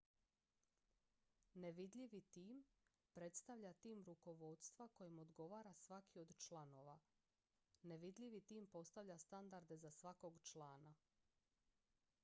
nevidljivi tim predstavlja tim rukovodstva kojem odgovara svaki od članova nevidljivi tim postavlja standarde za svakog člana